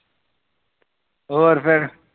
ਹੋਰ ਫਿਰ